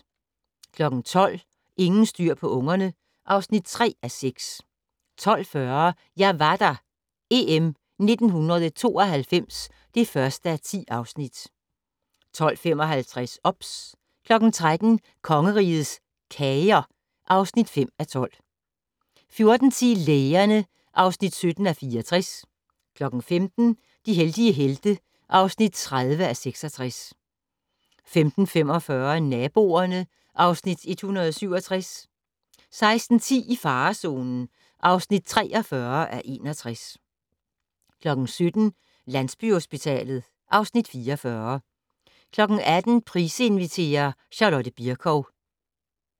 12:00: Ingen styr på ungerne (3:6) 12:40: Jeg var der - EM 1992 (1:10) 12:55: OBS 13:00: Kongerigets Kager (5:12) 14:10: Lægerne (17:64) 15:00: De heldige helte (30:66) 15:45: Naboerne (Afs. 167) 16:10: I farezonen (43:61) 17:00: Landsbyhospitalet (Afs. 44) 18:00: Price inviterer - Charlotte Bircow